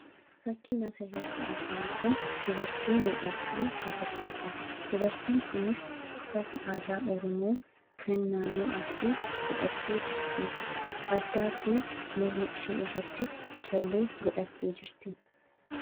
Fakkiin asii gaditti argamu kun dubartii miidhagduu agarsiisa. Dubartiin kunis uffata aadaa oromoo kan naannoo arsii godhattee jirti. Addaa fi morma isheerratti callee godhattee jirti.